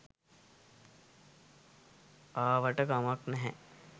ආවාට කමක් නෑ